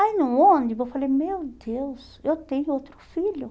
Aí no ônibus eu falei, meu Deus, eu tenho outro filho.